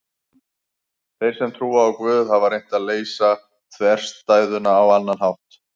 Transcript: Þeir sem trúa á Guð hafa reynt að leysa þverstæðuna á annan hátt.